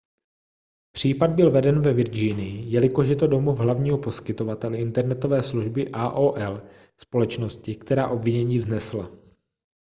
případ byl veden ve virginii jelikož je to domov hlavního poskytovatele internetové služby aol společnosti která obvinění vznesla